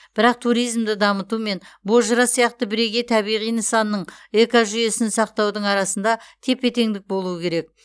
бірақ туризмді дамыту мен бозжыра сияқты бірегей табиғи нысанның экожүйесін сақтаудың арасында тепе теңдік болуы керек